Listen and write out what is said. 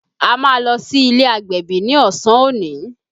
A máa lọ sí ilé agbẹ̀bí ni ọsàn òní